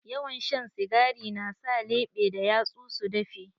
Yawan shan sigari na sa leɓe da yatsu su dafe.